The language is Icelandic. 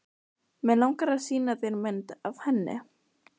Mig langar að sýna þér mynd af henni.